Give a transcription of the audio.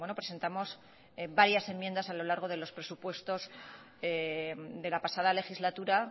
presentamos varias enmiendas a lo largo de los presupuestos de la pasada legislatura